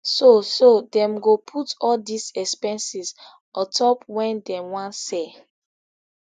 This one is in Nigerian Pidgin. so so dem go put all dis expenses on top wen dem wan sell